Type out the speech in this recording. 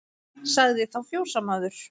Sagði þá fjósamaður